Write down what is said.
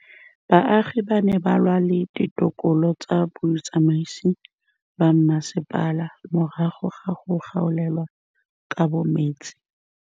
Baagi ba ne ba lwa le ditokolo tsa botsamaisi ba mmasepala morago ga go gaolelwa kabo metsi.